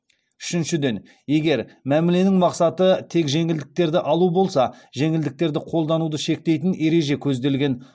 үшіншіден егер мәміленің мақсаты тек жеңілдіктерді алу болса жеңілдіктерді қолдануды шектейтін ереже көзделген